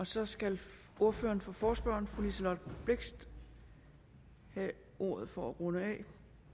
så skal ordføreren for forespørgerne fru liselott blixt have ordet for at runde af